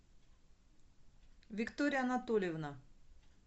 виктория анатольевна